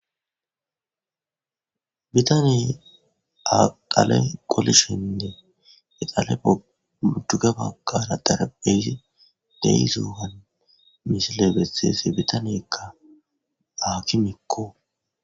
Bitaniy aqale qolishinne eqale ujugabawqara darabeysi deyisowan mishile betheese bitaniyakka baaki mikko.